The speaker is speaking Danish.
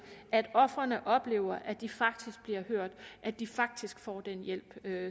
at ofrene oplever at de faktisk bliver hørt at de faktisk får den hjælp